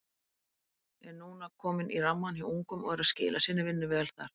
Er núna kominn í rammann hjá ungum og er að skila sinni vinnu vel þar.